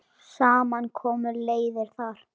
Saman koma leiðir þar.